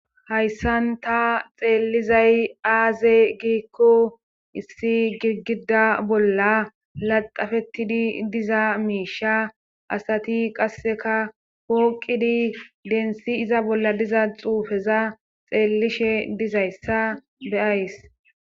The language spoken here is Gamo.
hayssan ta xeellizay aaze giikko issi girgida bolla laxafettidi diza miisha asati qasseka pooqidi densi iza bolla diza xuufeza xeellishe dizayssa be'ays